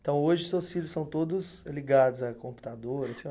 Então, hoje, seus filhos são todos ligados a computador?